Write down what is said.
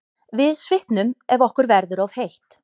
Við svitnum ef okkur verður of heitt.